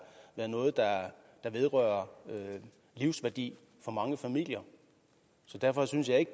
noget der vedrører livsværdi for mange familier derfor synes jeg ikke